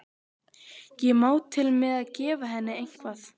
Ég má til með að gefa henni eitthvað.